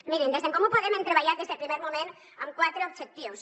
mirin des d’en comú podem hem treballat des del primer moment amb quatre objectius